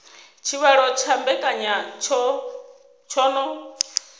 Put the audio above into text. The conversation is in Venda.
tshivhalo tsha mbekanya tsho no